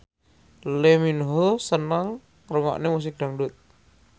Lee Min Ho seneng ngrungokne musik dangdut